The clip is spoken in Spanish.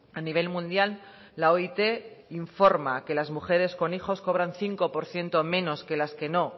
a nivel mundial la oit informa que las mujeres con hijos cobran cinco por ciento menos que las que no